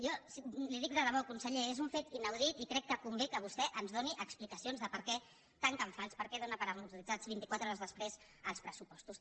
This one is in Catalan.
jo li ho dic de debò conseller és un fet inaudit i crec que convé que vostè ens doni explicacions de per què tanca en fals per què dóna per amortitzats vint i quatre hores després els pressupostos